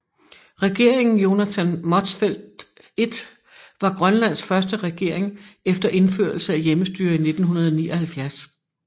Regeringen Jonathan Motzfeldt I var Grønlands første regering efter indførelse af hjemmestyre i 1979